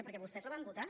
perquè vostès la van votar